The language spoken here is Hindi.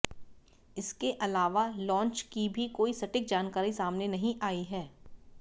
इसके अलावा लॉन्च की भी कोई सटीक जानकारी सामने नहीं आई है